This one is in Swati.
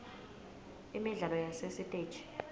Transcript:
imidlalo yasesitegi